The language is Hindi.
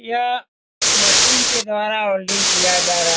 यह मशीन के द्वारा वेल्डिंग किया जा रहा --